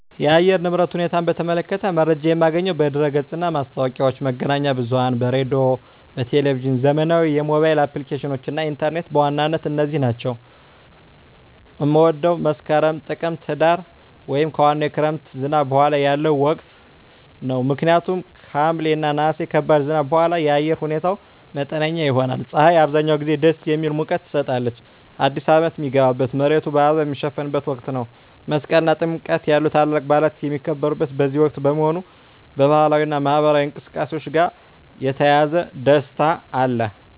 የአየር ንብረት ሁኔታን በተመለከተ መረጃ የማገኘው በድረ-ገጽ እና ማስታወቂያዎች፣ መገናኛ ብዙኃን በራዲዮ፣ በቴሊቭዥን፣ ዘመናዊ የሞባይል አፕሊኬሽኖች እና ኢንተርኔት በዋናነት እነዚህ ናቸው። መፀው መስከረም፣ ጥቅምትና ህዳር) ወይም ከዋናው የክረምት ዝናብ በኋላ ያለው ወቅት ነው። ምክንያቱም ከሐምሌ እና ነሐሴ ከባድ ዝናብ በኋላ የአየር ሁኔታው መጠነኛ ይሆናል። ፀሐይ አብዛኛውን ጊዜ ደስ የሚል ሙቀት ትሰጣለች። አዲስ አመት ሚገባበት፣ መሬቱ በአበባ ሚሸፈንበት ወቅት ነው። መስቀል እና ጥምቀት ያሉ ታላላቅ በዓላት የሚከበሩት በዚህ ወቅት በመሆኑ፣ ከባህላዊ እና ማኅበራዊ እንቅስቃሴዎች ጋር የተያያዘ ደስታ አለ።